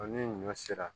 ni ɲɔ sera